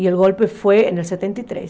E o golpe foi em setenta e três